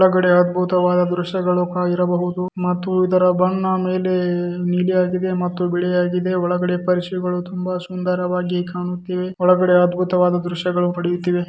ಒಳಗಡೆ ಅದ್ಬುತವಾದ ದೃಶ್ಯಗಳು ಇರಬಹುದು ಮತ್ತು ಇದರ ಬಣ್ಣ ಮೇಲೆ ನೀಲಿ ಆಗಿದೆ ಮತ್ತು ಬಿಳಿ ಆಗಿದೆ ಒಳಗಡೆ ಪರಿಷೆಗಳು ತುಂಬಾ ಸುಂದರವಾಗಿ ಕಾಣುತ್ತಿವೆ ಒಳಗಡೆ ಅದ್ಬುತವಾದ ದೃಶ್ಯಗಳು ಪಡಿಯುತ್ತಿವೆ.